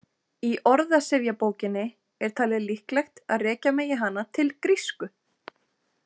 Í orðsifjabókinni er talið líklegt að rekja megi hana til grísku.